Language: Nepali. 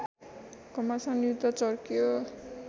घमासान युद्ध चर्कियो